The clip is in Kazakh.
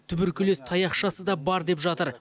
туберкулез таяқшасы да бар деп жатыр